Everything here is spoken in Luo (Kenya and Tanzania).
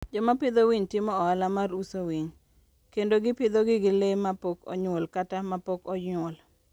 Joma pidho winy timo ohala mar uso winy, kendo gipidhogi gi le mapok onyuol kata mapok onyuol.